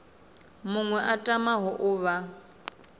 muṅwe a tamaho u vha